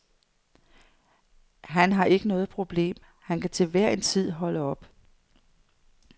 Han har ikke noget problem, han kan til enhver tid holde op.